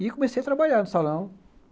E comecei a trabalhar no salão.